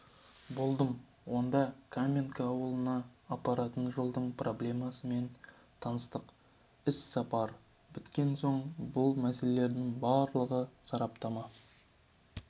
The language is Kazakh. болдым онда каменка ауылына апаратын жолдың проблемасымен таныстық іссапар біткен соң бұл мәселелердің барлығына сараптама